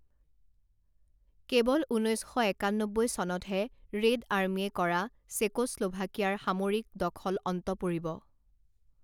কেৱল ঊনৈছ শ একান্নব্বৈ চনতহে ৰেড আৰ্মীয়ে কৰা চেকোস্লোভাকিয়াৰ সামৰিক দখল অন্ত পৰিব।